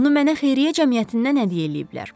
Onu mənə xeyriyyə cəmiyyətindən hədiyyə eləyiblər.